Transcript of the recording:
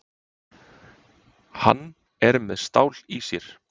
Hann er með stál í sér.